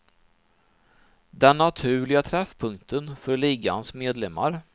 Den naturliga träffpunkten för ligans medlemmar.